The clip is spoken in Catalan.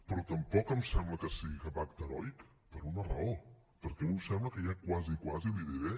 però tampoc em sembla que sigui cap acte heroic per una raó perquè a mi em sembla que hi ha quasi quasi li diré